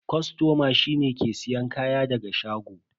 Kostoma shi ne wanda ke siyan kaya daga shago.